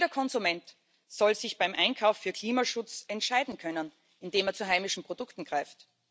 Jeder Konsument soll sich beim Einkauf für Klimaschutz entscheiden können, indem er zu heimischen Produkten greift.